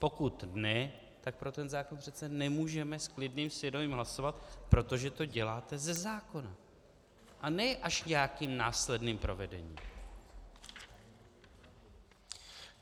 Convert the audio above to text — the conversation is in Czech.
Pokud ne, tak pro ten zákon přece nemůžeme s klidným svědomí hlasovat, protože to děláte ze zákona, a ne až nějakým následným provedením!